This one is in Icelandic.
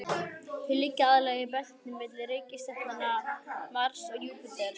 Þau liggja aðallega í belti milli reikistjarnanna Mars og Júpíters.